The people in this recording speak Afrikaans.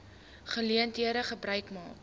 geleentheid gebruik maak